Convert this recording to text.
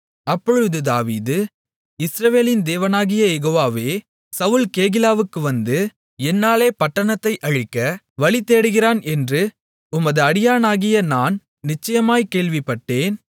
அப்பொழுது தாவீது இஸ்ரவேலின் தேவனாகிய யெகோவாவே சவுல் கேகிலாவுக்கு வந்து என்னாலே பட்டணத்தை அழிக்க வழிதேடுகிறான் என்று உமது அடியானாகிய நான் நிச்சயமாய்க் கேள்விப்பட்டேன்